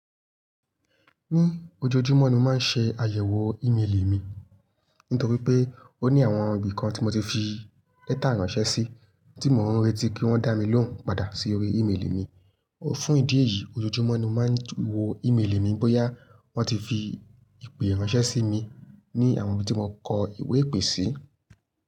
Ní ojoojúmọ́ ni mo máa ń ṣe àyẹ̀wò ímeèlì mi. Nítorí pé ó ní àwọn ibi kan tí mo ti fi lẹ́tà ránṣẹ́ sí, tí mò ń retí kí wọ́n dá mi lóhùn padà sí orí ímeèlì mi. Fún ìdí èyí, ojoojúmọ́ ni mo máa ń wo ímeèlì mi bóyá wọ́n ti fi ìpè ránṣẹ́ sí mi ní àwọn ibi tí mo kọ ìwé-ìpè sí.